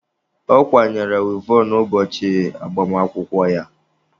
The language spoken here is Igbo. Ọ kwanyere wivọn ụbọchị agbamakwụkwọ ya.